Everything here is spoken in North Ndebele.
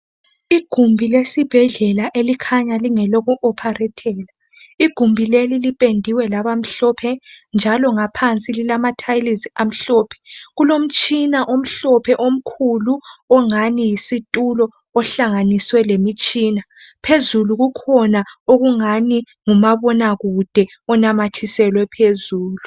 Igumbi lesibhedlela elikhanya lingeloku oparetela, lipendiwe labamhlophe njalo ngaphansi lilamathayilisi amhlophe. Kulomtshina omhlophe omkhulu ongani yisitulo ohlanganiswe lemitshina. Phezulu kukhona okungani ngumabona kude onamathiselwe phezulu.